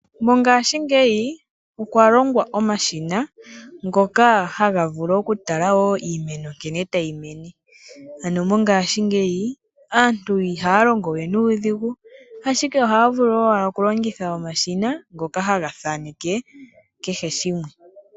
Mongashingeyi okwa longwa omashina ngoka haga vulu oku tala iimeno nkene ta yi mene. Ano mongaashingeyi aantu iha ya longo nuudhigu, ashike oha ya vulu owala oku longitha omashina, ngoka haga thaaneke kehe shimwe.